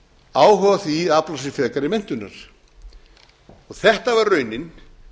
áhuga á því að afla sér frekari menntunar þetta var raunin